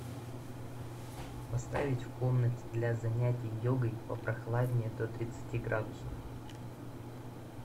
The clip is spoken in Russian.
поставить в комнате для занятия йогой попрохладнее до тридцати градусов